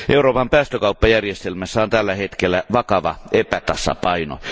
Euroopan päästökauppajärjestelmässä on tällä hetkellä vakava epätasapaino.